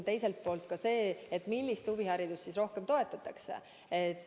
Teiselt poolt, millist huviharidust rohkem toetada.